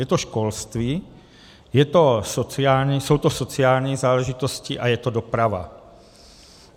Je to školství, jsou to sociální záležitosti a je to doprava.